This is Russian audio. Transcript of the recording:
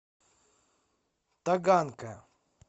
таганка